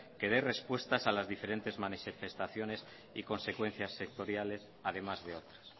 que dé respuestas a las diferentes manifestaciones y consecuencias sectoriales además de otras